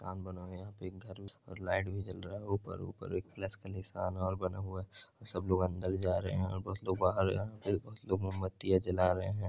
मकान बना हुआ है एक घर भी बना हुआ है और लाइट भी जल रहा है ऊपर ऊपर एक प्लस का नीसान और बना हुआ है और सब लोग अंदर जा रहे हैं कुछ लोग बाहर मोमबत्तियाँ जल रहे हैं